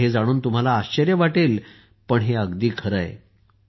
हे जाणून तुम्हाला आश्चर्य वाटेल पण हे अगदी खरे आहे